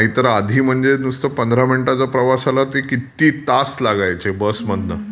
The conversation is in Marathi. नाहीतर म्हणजे आधी नुसता पंधरा मिनिटांचा प्रवासाला किती तास लागायचे बस मधून.